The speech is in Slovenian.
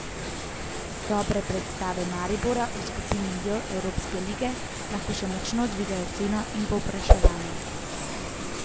Dobre predstave Maribora v skupini J Evropske lige lahko še močno dvignejo ceno in povpraševanje.